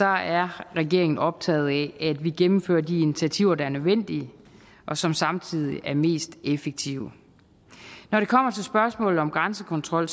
er regeringen optaget af at vi gennemfører de initiativer der er nødvendige og som samtidig er mest effektive når det kommer til spørgsmålet om grænsekontrol